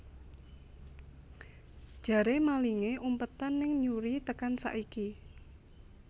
Jare malinge umpetan ning Newry tekan saiki